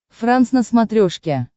франс на смотрешке